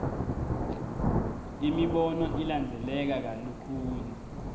imibono ilandzeleka kalukhuni